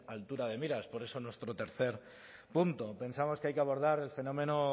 altura de miras por eso nuestro tercer punto pensamos que hay que abordar el fenómeno